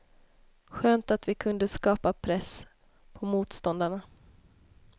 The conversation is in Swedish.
Skönt att vi kunde skapa press på motståndarna.